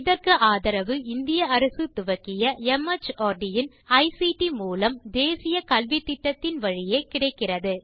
இதற்கு ஆதரவு இந்திய அரசு துவக்கிய மார்ட் இன் ஐசிடி மூலம் தேசிய கல்வித்திட்டத்தின் வழியே கிடைக்கிறது